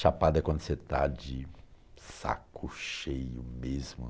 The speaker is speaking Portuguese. Chapado é quando você está de saco cheio mesmo.